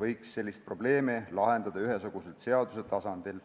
võiks selle probleemi lahendada ühesuguselt seaduse tasandil.